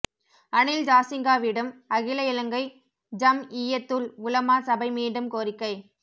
அனில் ஜாசிங்கவிடம் அகில இலங்கை ஜம்இய்யத்துல் உலமா சபை மீண்டும் கோரிக்கை